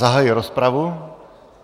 Zahajuji rozpravu.